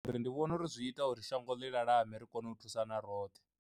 Ndi vhona uri zwi ita uri shango ḽi lalame ri kone u thusana roṱhe.